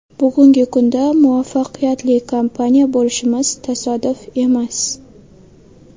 Bugungi kunda muvaffaqiyatli kompaniya bo‘lishimiz tasodif emas.